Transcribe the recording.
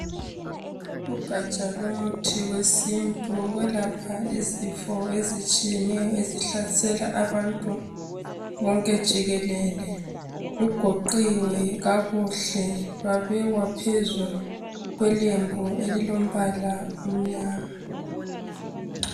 Ugatsha lomuthi wesintu wokwelapha izifo ezitshiyeneyo ezihlasela abantu bonke jikelele. Lugoqiwe kakuhle lwabekwa phezu kwelembu elilombala omnyama.